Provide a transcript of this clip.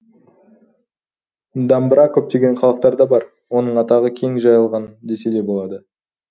дамбыра көптеген халықтарда бар оның атағы кең жайылған десе де болады